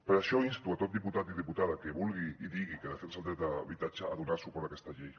per això insto tot diputat i diputada que vulgui i digui que defensa el dret de l’habitatge a donar suport a aquesta llei